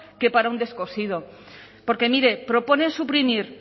que para un descosido porque mire proponen suprimir